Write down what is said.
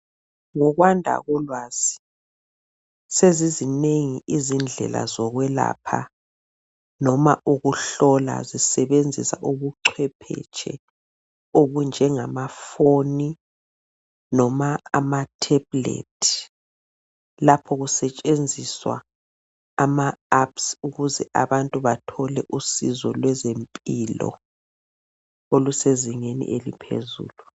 ngokwanda kolwazi sezizinengi izindlela zokwelapha loba ukuhlola zisebenzisa ubucwephetshe obunjengama foni loba ama tablet lapho kusetshenziswa ama Apps ukuze abantu bathole usizo lwezempilo olusezingeni eliphezulu